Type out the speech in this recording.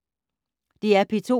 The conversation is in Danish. DR P2